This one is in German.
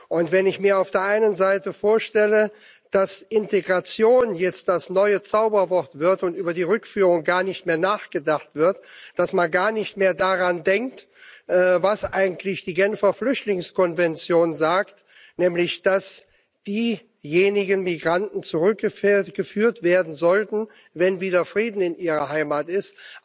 Und wenn ich mir auf der einen Seite vorstelle, dass Integration jetzt das neue Zauberwort wird und über die Rückführung gar nicht mehr nachgedacht wird, dass man gar nicht mehr daran denkt, was eigentlich die Genfer Flüchtlingskonvention sagt, nämlich, dass diejenigen Migranten zurückgeführt werden sollten, wenn wieder Frieden in ihrer Heimat ist.